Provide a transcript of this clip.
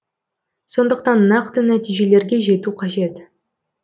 сондықтан нақты нәтижелерге жету қажет